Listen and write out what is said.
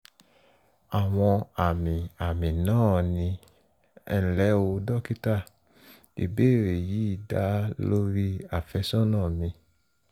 àwọn àmì àmì náà ni: ẹnlẹ́ o dókítà ìbéèrè yìí dá lórí àfẹ́sọ́nà mi